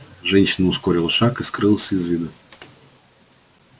женщина ускорила шаг и скрылась из виду